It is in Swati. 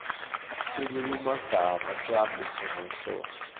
silulumagama sihambisana nenhloso